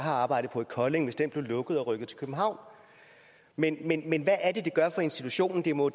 har arbejdet på i kolding blev lukket og rykket til københavn men men hvad er det det gør for institutionen det må